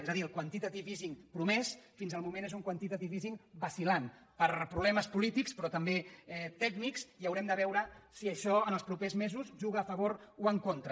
és a dir el quantitative easingés un quantitative easing vacil·lant per problemes po·lítics però també tècnics i haurem de veure si això en els propers mesos juga a favor o en contra